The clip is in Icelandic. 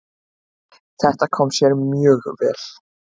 Það kom sér mjög vel.